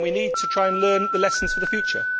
We need to try to learn the lessons for the future.